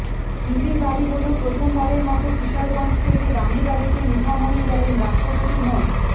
নিজের বাড়ি হলেও প্রথম বারেরমতো কিশোরগঞ্জ থেকে দামি গাড়িতে মিঠামইন গেলেন রাষ্ট্রপতি মো